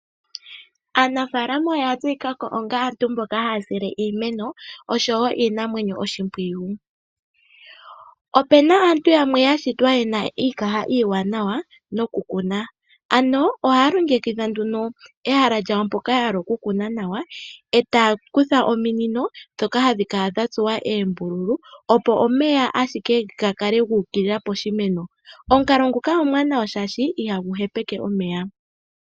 Aanafalama oya tseyikako onga aantu mbono haya sile iimeno oshowo iinamwenyo oshipwiyu. Opena aantu yamwe yashitwa yena iikaha iiwanawa nokukuna, ano ohaya longekidha nduno ehala lyawo mpoka ya hala okukuna nawa, etaya kutha ominino ndhoko hadhi kala dha tsuwa eembululu opo omeya ga kale ashike guuka poshimeno. Omukalo nguno omwaanawa oshoka ihagu hepeke omeya.